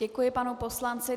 Děkuji panu poslanci.